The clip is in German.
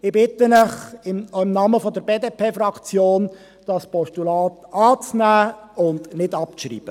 Ich bitte Sie im Namen der BDP-Fraktion, das Postulat anzunehmen und nicht abzuschreiben.